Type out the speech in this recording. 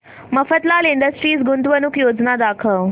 Mafatlal industries गुंतवणूक योजना दाखव